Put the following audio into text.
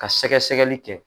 Ka sɛgɛsɛgɛli kɛ